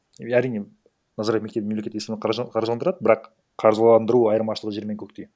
әрине назарбаев мектебі мемлекет есебінен каржыландырады бірақ қаржыландыру айырмашылығы жер мен көктей